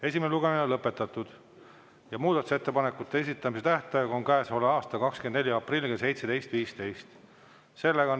Esimene lugemine on lõpetatud ja muudatusettepanekute esitamise tähtaeg on käesoleva aasta 24. aprill kell 17.15.